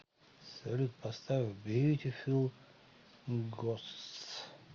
салют поставь бьютифул гостс